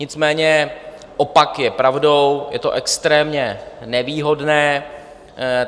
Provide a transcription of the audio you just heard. Nicméně opak je pravdou, je to extrémně nevýhodné.